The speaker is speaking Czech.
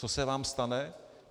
Co se vám stane?